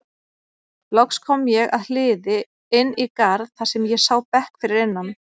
Loks kom ég að hliði inn í garð þar sem ég sá bekk fyrir innan.